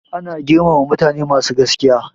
Ana girmama mutane masu gaskiya.